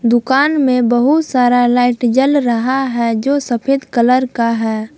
दुकान में बहुत सारा लाइट जल रहा है जो सफेद कलर का है।